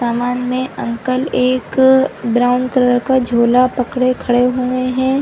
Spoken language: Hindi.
समान में अंकल एक अ ब्राउन कलर का झोला पकडे खड़े हुएं हैं।